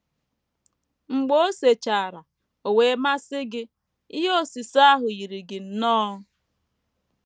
Mgbe o sechara, o wee masị gị; ihe osise ahụ yiri gị nnọọ.